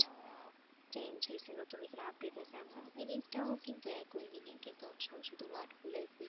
change হয়েছে নতুন নতুন update হয়েছে আপনার meaning টাও কিন্তু একই meaning কিন্তু word গুলা